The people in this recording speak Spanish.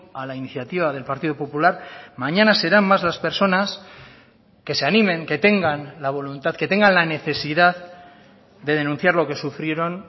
a la iniciativa del partido popular mañana serán más las personas que se animen que tengan la voluntad que tengan la necesidad de denunciar lo que sufrieron